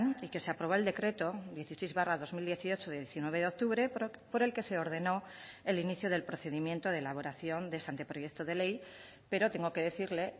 y que se aprobó el decreto dieciséis barra dos mil dieciocho de diecinueve de octubre por el que se ordenó el inicio del procedimiento de elaboración de este anteproyecto de ley pero tengo que decirle